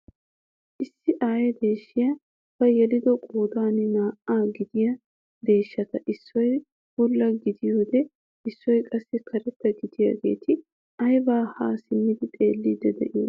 Issi aye deeshshiyaa ba yelido qoodan naa"a gidiyaa deeshshata issoy bulla gidiyoode issoy qassi karetta gididageti aybaa haa simmidi xeelliidi de'iyoonaa?